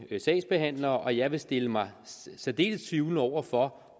sagsbehandlere og jeg vil stille mig særdeles tvivlende over for